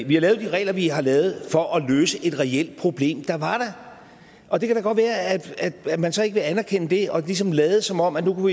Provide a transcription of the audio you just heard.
vi har lavet de regler vi har lavet for at løse et reelt problem der var der og det kan da godt være at man så ikke vil anerkende det og ligesom vil lade som om at nu